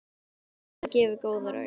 Hefur þetta gefið góða raun?